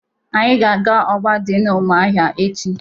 Anyị ga-aga ọgba dị n'ụmụahịa echi.